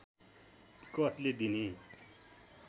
कसले दिने